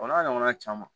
O n'a ɲɔgɔnna caman